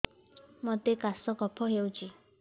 ମୋତେ କାଶ କଫ ହଉଚି